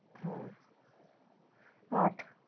হ্যাঁ। আট।